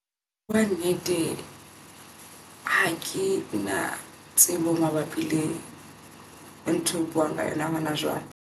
Ka nnete, hakena tsebo mabapi le ka ntho eo buang ka yona ha hona jwale.